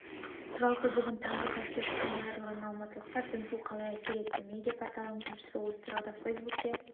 жалпы бүгін таңғы тәтті ұйқысынан айырылған алматылықтарға дүмпу қалай әсер етті медиа-порталының тілшісі осы тұрғыда фейсбукке